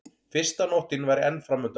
Fyrsta nóttin væri enn framundan.